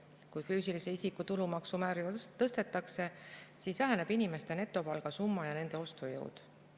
Kui füüsilise isiku tulumaksu määra tõstetakse, siis väheneb inimeste netopalga summa ja nende ostujõud.